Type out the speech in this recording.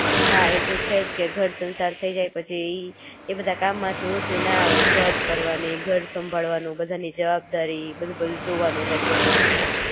હા એતો છે જ કે ઘર સંસાર થઇ જાય પછી એ બધા કામ માંથી ઊંચું ન આવાય જોબ કરવાની, ઘર સંભાળવાનું, બધાની જવાબદારી બધું બધું જોવાનું રહેતું હોય છે.